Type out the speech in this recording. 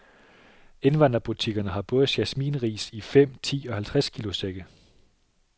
Indvandrerbutikkerne har både jasmin ris i fem , ti og halvtreds kilo sække.